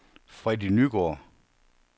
Freddy Nygaard